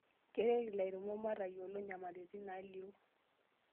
Keret ilairemok metayiolo nyamalitin naalio.